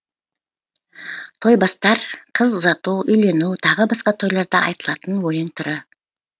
тойбастар қыз ұзату үйлену тағы басқа тойларда айтылатын өлең түрі